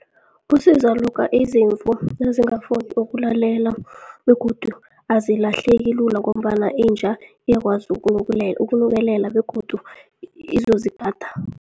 Kusiza lokha izimvu nazingafuni ukulalela begodu azilahleleki lula, ngombana inja iyakwazi ukunukelela begodu izozigada.